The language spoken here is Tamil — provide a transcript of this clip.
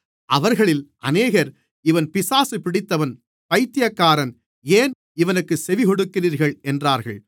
அவர்களில் அநேகர் இவன் பிசாசு பிடித்தவன் பைத்தியக்காரன் ஏன் இவனுக்குச் செவி கொடுக்கிறீர்கள் என்றார்கள்